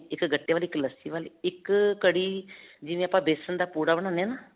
ਇਕ ਗੱਟੇ ਵਾਲੀ, ਇਕ ਲੱਸੀ ਵਾਲੀ, ਇਕ ਅਅ ਕੜੀ ਜਿਵੇਂ ਆਪਾਂ ਬੇਸਨ ਦਾ ਪੂੜਾ ਬਣਾਉਂਦੇ ਹੈ ਨਾ